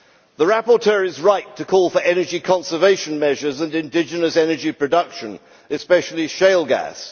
The rapporteur is right to call for energy conservation measures and indigenous energy production, especially shale gas.